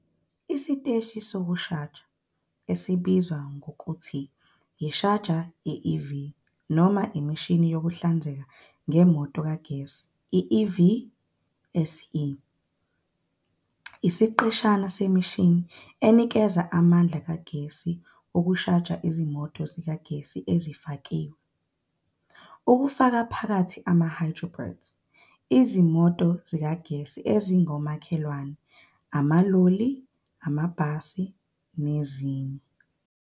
Isiteshi sokushaja, esibizwa nangokuthi ishaja ye-EV noma imishini yokuhlinzeka ngemoto kagesi, i- EVSE, isiqeshana semishini enikeza amandla kagesi wokushaja izimoto zikagesi ezifakiwe, kufaka phakathi ama-hybrids, izimoto zikagesi ezingomakhelwane, amaloli, amabhasi, nezinye.